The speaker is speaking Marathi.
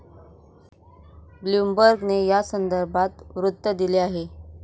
ब्लुमबर्गने यासंदर्भात वृत्त दिले आहे.